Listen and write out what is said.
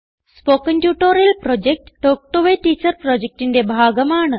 spoken tutorial project talk to a teacher പ്രൊജക്റ്റിന്റെ ഭാഗമാണ്